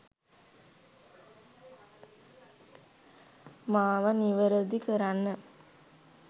මාව නිවරදි කරන්න.